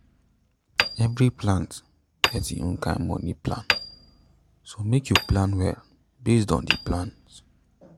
every plant get im own kind moni plan so make you plan well based on the plant